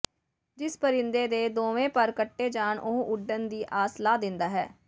ਜਿਸ ਪਰਿੰਦੇ ਦੇ ਦੋਵੇਂ ਪਰ ਕੱਟੇ ਜਾਣ ਉਹ ਉਡਣ ਦੀ ਆਸ ਲਾਹ ਦਿੰਦਾ ਹੈ